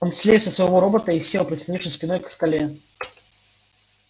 он слез со своего робота и сел прислонившись спиной к скале